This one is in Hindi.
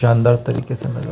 शानदार तरीके से लगा--